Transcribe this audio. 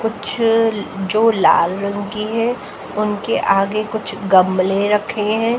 कुछ जो लाल रंग की है उनके आगे कुछ गमले रखे हैं।